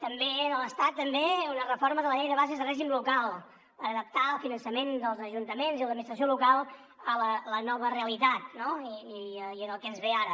a l’estat també una reforma de la llei de bases de règim local per adaptar el finançament dels ajuntaments i de l’administració local a la nova realitat no i al que ens ve ara